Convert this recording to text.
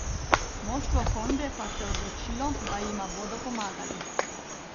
Moštvo Honde pa se je odločilo, da jima bodo pomagali.